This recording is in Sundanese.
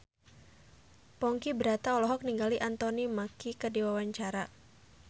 Ponky Brata olohok ningali Anthony Mackie keur diwawancara